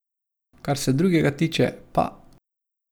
Kar se drugega tiče, pa ...